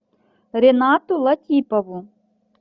ренату латипову